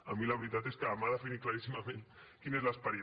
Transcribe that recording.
a mi la veritat és que m’ha definit claríssimament quin és l’esperit